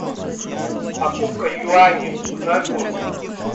покупка юани узнай курс